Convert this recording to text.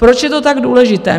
Proč je to tak důležité?